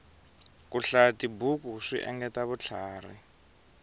ku hlayatibuku swi engetela vutlhari